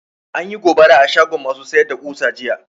Anyi gobara a shagon ma su sayar da ƙusa jiya